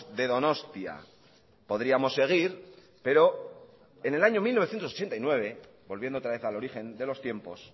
de donostia podríamos seguir pero en el año mil novecientos ochenta y nueve volviendo otra vez al origen de los tiempos